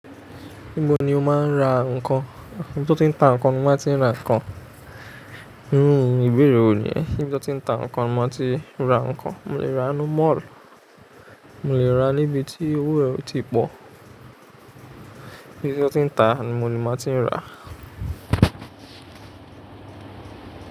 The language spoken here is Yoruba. Níbo ni o máa ń ra ǹkan? Níbi tí wọ́n tí ń ta ǹkan ni mo ti máa ń ra ǹkan. Rárá, oo ìbéèrè wo ni yen. Níbi tí wọ́n ti ń ta ǹkan ni mo ti máa ń ti n ra ǹkan. Mo lè ra nínú mall, mo lè ra níbi tí owó rẹ o ti pọ̀. Níbi tí wọ́n ti ń ta ni mo ni ma ti ń rà.